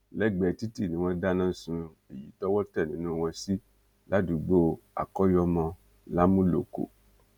lẹgbẹẹ títì ni wọn dáná sun èyí tọwọ tẹ nínú wọn sí ládùúgbò akọyọmọ làmúlòkọ